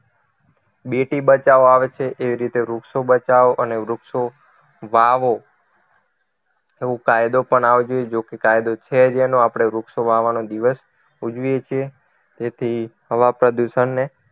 બેટી બચાવો આવે છે એ રીતે વૃક્ષો બચાવો અને વૃક્ષો વાવો નો કાયદો પણ આવવો જોઈએ જો કે કાયદો છે જ એનો આપણે વૃક્ષો વાવવાનો દિવસ ઉજવીએ છીએ જેથી હવા પ્રદુષણને